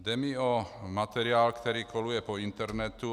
Jde mi o materiál, který koluje po internetu.